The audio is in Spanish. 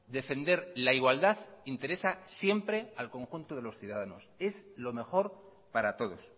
defender la igualdad interesa siempre al conjunto de los ciudadanos es lo mejor para todos